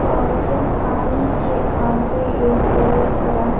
और पानी के आगे एक बहुत बरा --